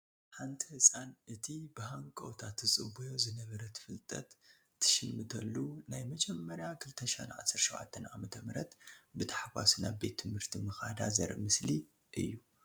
ሓንቲ ህፃን እቲ ብሃንቀውታ ትፅበዮ ዝነበረት ፍልጠት ትሽምተሉ ናይ መጀመርያ 2017 ዓ/ም ብታሕጓስ ናብ ቤት ትምህርቲ ምኻዳ ዘርኢ ምስሊ እዩ።